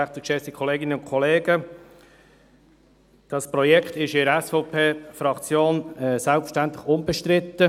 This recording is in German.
Dieses Projekt ist in der SVP-Fraktion selbstverständlich unbestritten.